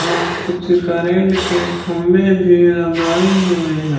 हां कुछ करंट के खंबे भी लगाए हुए हैं।